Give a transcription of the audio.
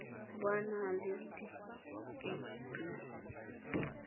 bo a na le dikirii